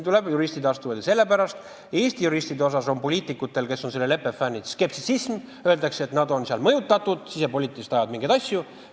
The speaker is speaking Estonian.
Poliitikud, kes on selle leppe fännid, on skeptilised Eesti juristide suhtes, öeldakse, et nad on mõjutatud, ajavad sisepoliitiliselt mingeid asju.